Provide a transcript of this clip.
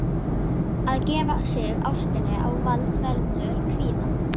Að gefa sig ástinni á vald veldur kvíða.